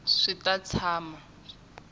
swi ta tshama swi ri